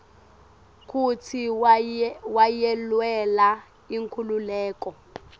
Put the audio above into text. kutsi wayelwela inkhululeko